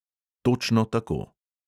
Točno tako.